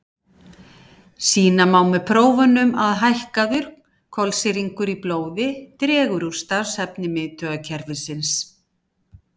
Sýna má með prófunum að hækkaður kolsýringur í blóði dregur úr starfshæfni miðtaugakerfisins.